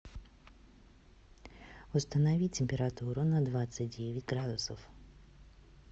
установи температуру на двадцать девять градусов